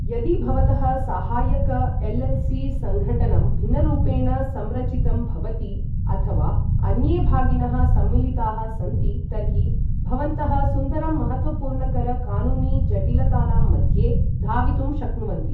यदि भवतः सहायक एलएलसी सङ्घटनं भिन्नरूपेण संरचितं भवति अथवा अन्ये भागिनः सम्मिलिताः सन्ति, तर्हि भवन्तः सुन्दरं महत्त्वपूर्णकर कानूनी जटिलतानां मध्ये धावितुं शक्नुवन्ति।